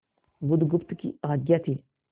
बुधगुप्त की आज्ञा थी